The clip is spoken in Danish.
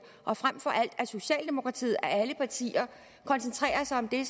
og frem for alt at socialdemokratiet af alle partier koncentrerer sig om det